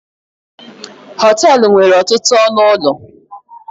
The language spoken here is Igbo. họtelu nwere ọtụtụ ọnụ ụlọ